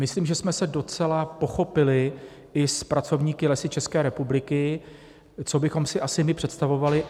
Myslím, že jsme se docela pochopili i s pracovníky Lesů České republiky, co bychom si asi my představovali.